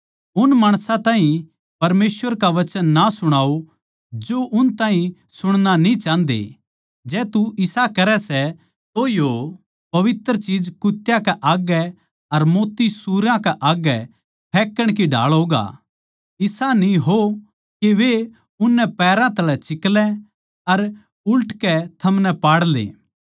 उन माणसां ताहीं परमेसवर का वचन ना सुणाओ जो उस ताहीं सुणणा न्ही चाहन्दे जै तू इसा करै सै तो यो पवित्र चीज कुत्यां कै आग्गै अर मोत्ती सूअरां के आग्गै फेक्कण की ढाळ होगा इसा न्ही हो के वे उननै पैरां तळै चिकलै अर उल्टके थमनै पाड़ले